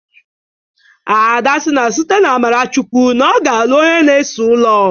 Ada si na site n'amara Chukwụ na ọ ga-alụ onye na-ese ụlọ